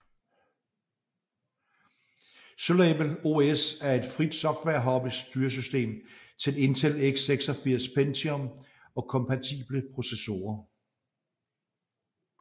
Syllable OS er et frit software hobby styresystem til Intel x86 Pentium og kompatible processorer